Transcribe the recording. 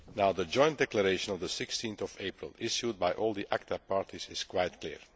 The joint declaration of 16 April issued by all the ACTA parties is quite clear.